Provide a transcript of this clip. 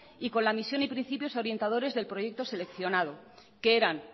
y con la misión y principios orientadores del proyecto seleccionada que eran